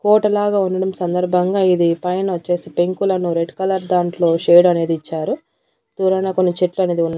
Hotel లాగా ఉండటం సందర్భంగా ఇది పైన వచ్చేసి పెంకులను రెడ్ కలర్ దాంట్లో షేడ్ అనేది ఇచ్చారు దూరాన కొన్ని చెట్లు అనేది ఉన్నాయి.